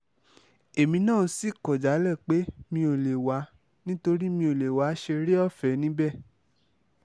èmi náà sì kọ̀ jálẹ̀ pé mi ò lè wá nítorí mi ò lè wáá ṣeré ọ̀fẹ́ níbẹ̀